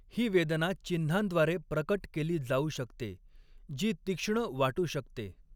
ही वेदना चिन्हांद्वारे प्रकट केली जाऊ शकते, जी तीक्ष्ण वाटू शकते.